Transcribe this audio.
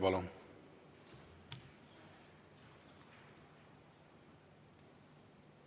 Palun!